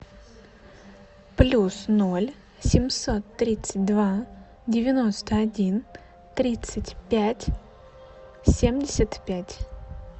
плюс ноль семьсот тридцать два девяносто один тридцать пять семьдесят пять